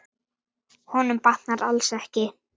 Honum batnar alls ekki.